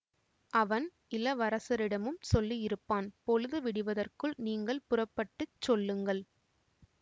அவன் இளவரசரிடமும் சொல்லியிருப்பான் பொழுது விடிவதற்குள் நீங்கள் புறப்பட்டு சொல்லுங்கள்